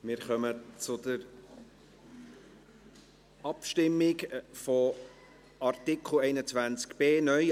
Wir kommen zur Abstimmung zu Artikel 21b (neu)